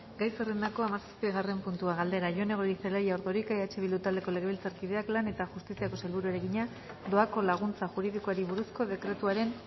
gai zerrendako hamazazpigarren puntua galdera jone goirizelaia ordorika eh bildu taldeko legebiltzarkideak lan eta justiziako sailburuari egina doako laguntza juridikoari buruzko dekretuaren